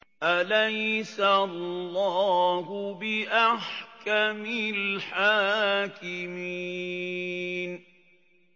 أَلَيْسَ اللَّهُ بِأَحْكَمِ الْحَاكِمِينَ